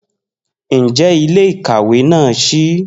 Njẹ ile-ikawe naa ṣii?